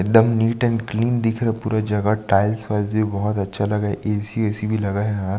एकदम neat and clean दिख रहा पूरा जगह टाइल्स वाइल्स भी बहुत अच्छा लग रहा ऐ.सी वैसी भी लगा है यार--